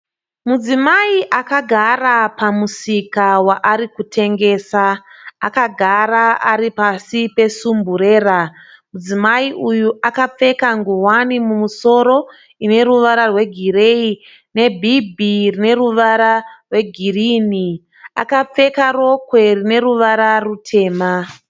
Mudzimai akagara pamusika waari kutengesa, akagara ari pasi pesumburera, mudzimai uyu akapfeka ngowani mumosoro ine ruvara rwegireyi nebhibhi ine ruvara rwegini, akapfeka rokwe rine ruvara rwutema.